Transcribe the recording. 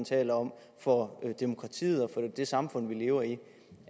taler om for demokratiet og for det samfund vi lever i